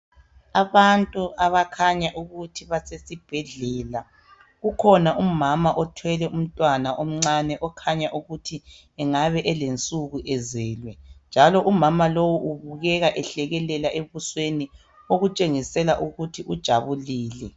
Abantu abakhanya ukuthi basesibhedlela kukhona umama othwele umntwana omncane okhanya ukuthi engabe elensuku ezelwe njalo umama lowu ubukeka ehlekelela ebusweni okutshengisela ukuthi ujabulile.